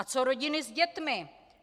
A co rodiny s dětmi?